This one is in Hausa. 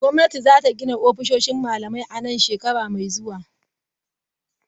Gwamnati za ta gina ofisoshin malamai a nan shekara mai zuwa.